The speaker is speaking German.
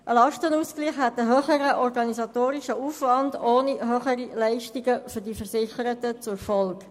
Ein Lastenausgleich hätte einen höheren organisatorischen Aufwand ohne höhere Leistungen für die Versicherten zur Folge.